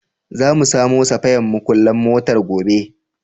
Za mu samo safayan muƙullan motar gobe.